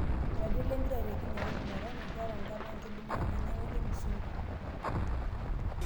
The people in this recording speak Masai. Iratiot lempira te kinyewa Jumatano; Keeeta nkama enkidimata nainyang'unyie Musungu